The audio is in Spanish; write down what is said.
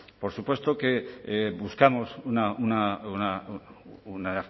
por supuesto que buscamos una